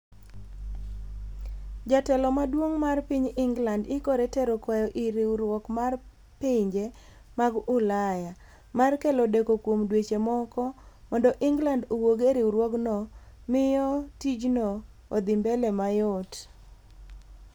Jatelo maduong' mar ping England ikore tero kwayo ir riwruok mar pinje mag ulaya. mar kelo deko kuom dweche moko, mondo england owuog e riwruogno miyo tijno odhi mbele mayot